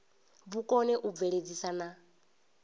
vhu kone u bveledzisa na